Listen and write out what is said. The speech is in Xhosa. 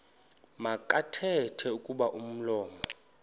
makathethe kuba umlomo